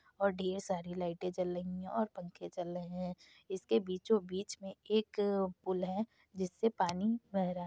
और ढेर सारी लाईटें जल रही हैं और पंखे चल रहे हैं। इसके बीचो बीच में एक पुल है जिससे पानी बह रहा --